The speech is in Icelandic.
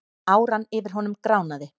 Áran yfir honum gránaði.